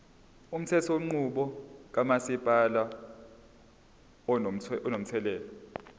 umthethonqubo kamasipala unomthelela